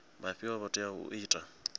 vhafhio vho teaho u ita